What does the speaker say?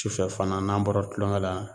Tufɛ fana n'an bɔra tulonkɛ la